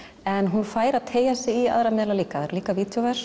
en hún fær að teygja sig í aðra miðla líka það eru líka